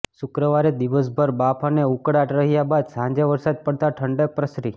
શુક્રવારે દિવસભર બાફ અને ઉકળાટ રહ્યા બાદ સાંજે વરસાદ પડતા ઠંડક પ્રસરી